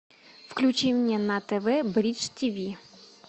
включи мне на тв бридж тв